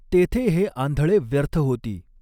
तॆथॆं हॆ आंधळॆ व्यर्थ हॊती.